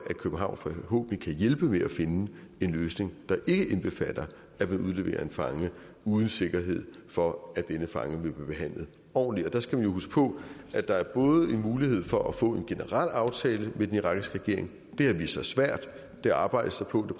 københavn forhåbentlig kan hjælpe med at finde en løsning der ikke indbefatter at man udleverer en fange uden sikkerhed for at denne fange vil blive behandlet ordentligt der skal man jo huske på at der både er en mulighed for at få en generel aftale med den irakiske regering det har vist sig svært det arbejdes der på